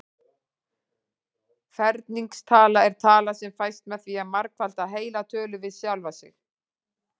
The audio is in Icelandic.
Ferningstala er tala sem fæst með því að margfalda heila tölu við sjálfa sig.